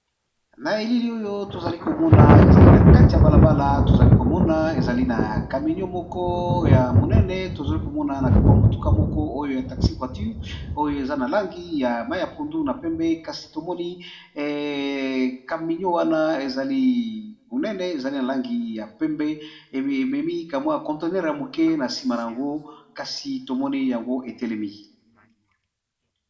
Na elili oyo tozali komona ezali na kati ya balabala tozali komona ezali na kaminio moko ya monene, tozali komona nakama motuka moko oyo ya taxi voiture oyo eza na langi ya mai ya pundu na pembe kasi tomoni kaminio wana ezali monene ezali na langi ya pembe ememi kamwa ya conteneure ya moke na nsima na yango kasi tomoni yango etelemi.